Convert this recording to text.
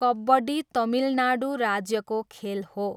कबड्डी तमिलनाडु राज्यको खेल हो।